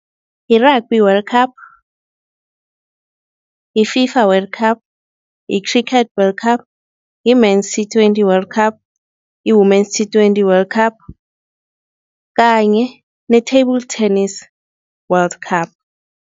Yi-Rugby World Cup, yi-FIFA World Cup, yi-Cricket World Cup, yi-Men's T Twenty World Cup, yi-Women's T Twenty World Cup kanye ne-Table Tennis World Cup.